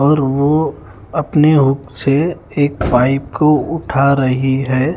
और वो अपने हुक से एक पाइप को उठा रहे है।